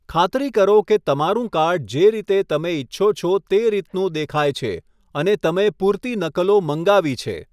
ખાતરી કરો કે તમારું કાર્ડ જે રીતે તમે ઇચ્છો છો તે રીતનું દેખાય છે, અને તમે પૂરતી નકલો મંગાવી છે.